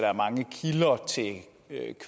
er